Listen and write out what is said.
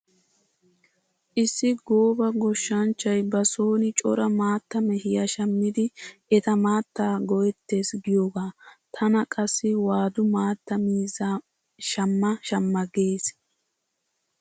Issi gooba goshshanchchay ba soon cora maatta mehiya shammidi eta maattaa go'ettees giyogaa. Tana qassi waadu maatta miizzaa shamma shamma gees.